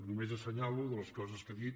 només assenyalo de les coses que ha dit